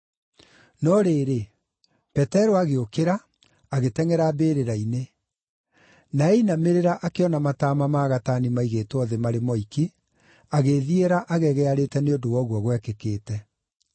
No rĩrĩ, Petero agĩũkĩra, agĩtengʼera mbĩrĩra-inĩ. Na ainamĩrĩra akĩona mataama ma gatani maigĩtwo thĩ marĩ moiki, agĩĩthiĩra agegearĩte nĩ ũndũ wa ũguo gwekĩkĩte.